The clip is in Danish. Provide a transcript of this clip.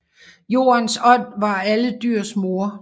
Jordens ånd var alle dyrs mor